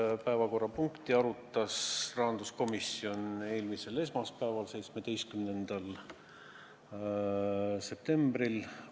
Seda päevakorrapunkti arutas rahanduskomisjon eelmisel esmaspäeval, 17. septembril.